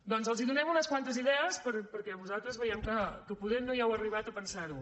doncs els donem unes quantes idees perquè vosaltres veiem que poder no hi heu arribat a pensar ho